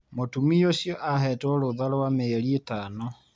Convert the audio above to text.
Mũtumia ũcio ahetwo rũtha rwa mĩeri itano.